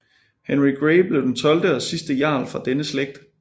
Henry Grey blev den tolvte og sidste jarl fra denne slægt